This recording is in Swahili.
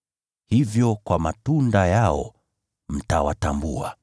Hivyo, mtawatambua kwa matunda yao.